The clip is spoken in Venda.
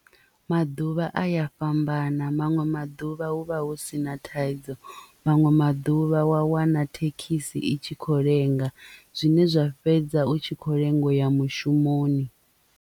Maḓuvha a ya fhambana maṅwe maḓuvha hu vha hu sina thaidzo manwe maḓuvha wa wana thekhisi i tshi kho lenga zwine zwa fhedza u tshi kho lenga uya mushumoni.